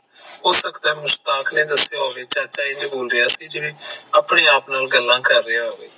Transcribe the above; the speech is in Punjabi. ਹੋ ਸਕਦਾ ਮੁਸਤਾਖ ਨੇ ਦਸਿਆ ਹੋਵੇ, ਚਾਚਾ ਇੰਝ ਬੋਲ ਰਿਹਾ ਸੀ ਜਿਵੇ ਆਪਣੇ ਆਪ ਨਾਲ ਗਲਾ ਕਰ ਰਿਹਾ ਹੋਵੇ